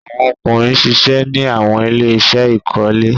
Awọn ọkunrin ṣiṣẹ ni awọn ile-iṣẹ ikole